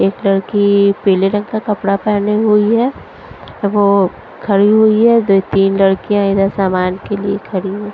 एक लड़की पीले रंग का कपड़ा पहनी हुई है वो खड़ी हुई है दो तीन लड़कियां इधर सामान के लिए खड़ी--